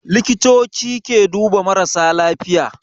Likitoci ke duba marasa lafiya